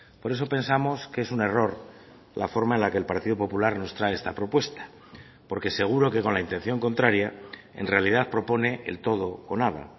por eso pensamos que es un error la forma en la que el partido popular nos trae esta propuesta porque seguro que con la intención contraria en realidad propone el todo con nada